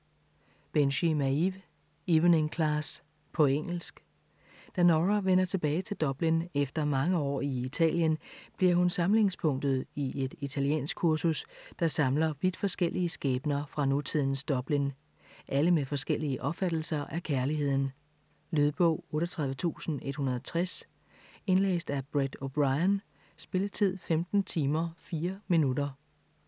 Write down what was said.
Binchy, Maeve: Evening class På engelsk. Da Nora vender tilbage til Dublin efter mange år i Italien, bliver hun samlingspunktet i et italienskkursus, der samler vidt forskellige skæbner fra nutidens Dublin. Alle med forskellige opfattelser af kærligheden. Lydbog 38160 Indlæst af Brett O'Brien Spilletid: 15 timer, 4 minutter.